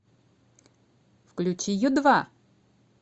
включи ю два